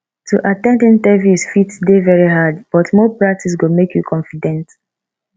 to at ten d interviews fit dey very hard but more practice go make you confident